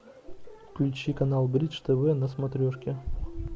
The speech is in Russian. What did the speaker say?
включи канал бридж тв на смотрешке